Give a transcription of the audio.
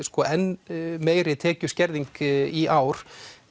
enn meiri tekjuskerðing í ár